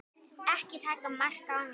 Ekki taka mark á mér.